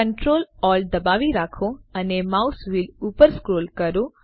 Ctrl Alt દબાવી રાખો અને માઉસ વ્હીલ ઉપર સ્ક્રોલ કરો